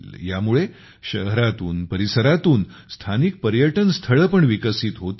ह्यामुळे शहरातून परिसरांतून स्थानिक पर्यटन स्थळे पण विकसित होतील